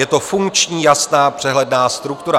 Je to funkční, jasná, přehledná struktura.